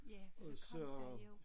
Ja for så kom der jo